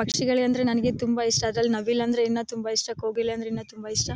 ಪಕ್ಷಿಗಳಂದ್ರೆ ನನಗೆ ತುಂಬಾ ಇಷ್ಟ ಅದ್ರಲ್ಲೂ ನವಿಲು ಅಂದ್ರೆ ಇನ್ನ ತುಂಬಾ ಇಷ್ಟ ಕೋಗಿಲೆ ಅಂದ್ರೆ ಇನ್ನ ತುಂಬಾ ಇಷ್ಟ